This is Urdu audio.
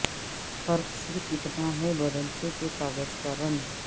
فرق صرف اتنا ہے بدلتے کہ کاغذ کا رنگ